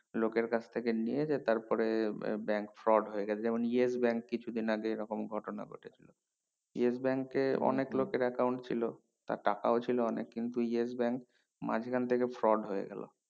লোকের কাছ থেকে নিয়ে তারপরে আহ bank fraud হয়ে গেছে যেমন yes bank কিছু দিন আগে এই রকম ঘটনা ঘটেছে yes bank এ অনেক লোকের account ছিল তার টাকাও ছিল অনেক কিন্তু yes bank মাঝখান থেকে fraud হয়ে গেলো